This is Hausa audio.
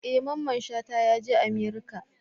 E! Mamman shata yaje America.